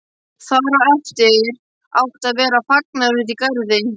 Þar á eftir átti að vera fagnaður úti í garði.